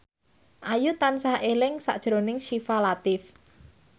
Ayu tansah eling sakjroning Syifa Latief